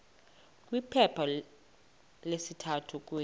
kwiphepha lesithathu kule